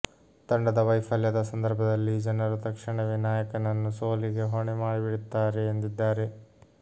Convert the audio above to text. ತಂಡದ ವೈಫಲ್ಯದ ಸಂದರ್ಭದಲ್ಲಿ ಜನರು ತಕ್ಷಣವೇ ನಾಯಕನನ್ನು ಸೋಲಿಗೆ ಹೊಣೆ ಮಾಡಿಬಿಡುತ್ತಾರೆ ಎಂದಿದ್ದಾರೆ